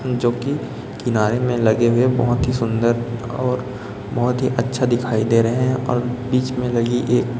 जोकि किनारे में लगे हुए बहोत ही सुंदर और बहोत ही अच्छा दिखाई दे रहें हैं और बीच में लगी एक--